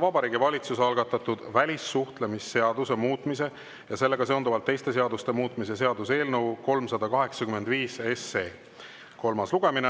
Vabariigi Valitsuse algatatud välissuhtlemisseaduse muutmise ja sellega seonduvalt teiste seaduste muutmise seaduse eelnõu 385 kolmas lugemine.